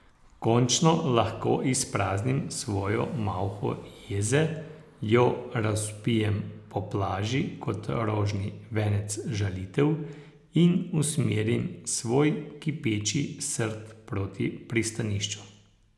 Končno lahko izpraznim svojo malho jeze, jo razvpijem po plaži kot rožni venec žalitev in usmerim svoj kipeči srd proti pristanišču.